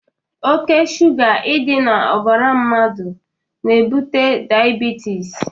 Ọke sụga idi na ọbara mmadu n' ebute diabetịs.